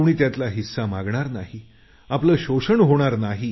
कुणी त्यातला हिस्सा मागणार नाही शोषण होणार नाही